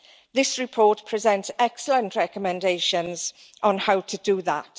This report presents excellent recommendations on how to do that.